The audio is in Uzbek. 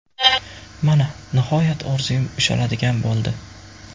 Mana, nihoyat orzum ushaladigan bo‘ldi.